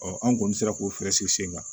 an kɔni sera k'o fɛɛrɛ sigi sen kan